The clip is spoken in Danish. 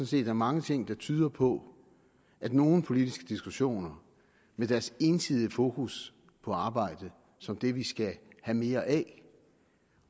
set er mange ting der tyder på at nogle politiske diskussioner med deres ensidige fokus på arbejde som det vi skal have mere af